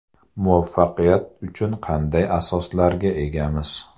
Muvaffaqiyat uchun qanday asoslarga egamiz?